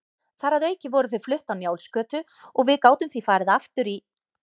Þar að auki voru þau flutt á Njálsgötu og við gátum því farið aftur í